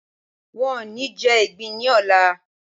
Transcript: Wọn ò ní jẹ ìgbín ní ọlà.